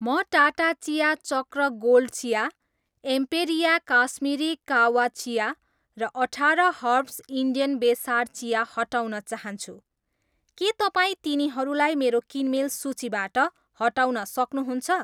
म टाटा चिया चक्र गोल्ड चिया, एम्पेरिया काश्मिरी काह्वा चिया र अठाह्र हर्ब्स इन्डियन बेसार चिया हटाउन चाहन्छु, के तपाईँ तिनीहरूलाई मेरो किनमेल सूचीबाट हटाउन सक्नुहुन्छ?